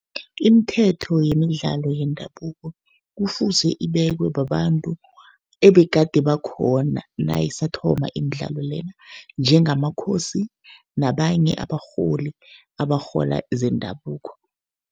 Imithetho yemidlalo yendabuko, kufuze ibekwe babantu ebegade bakhona nayisathoma imidlalo lena, njengamakhosi nabanye abarholi abarhola zendabuko.